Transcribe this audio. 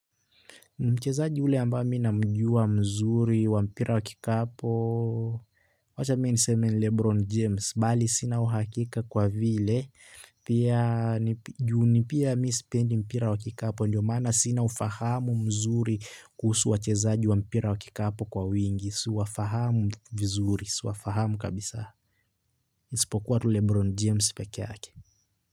Mchezaji ule ambaye mi namjua mzuri wa mpira wakikapo, wacha mimi niseme ni Lebron James, mbali sina uhakika kwa vile, pia sipendi mpira wa kikapu ndo maana sina ufahamu mzuri kuhusu wachezaji wa mpira wa kikapu siwafahamu vizuri isipokuwa lebron james.